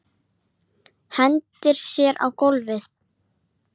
Hverjir fara með þau?